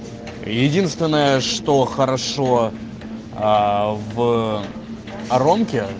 единственное что хорошо аа в оромке